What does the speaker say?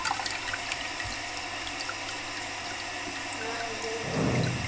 அஹ் சொல்லுங்க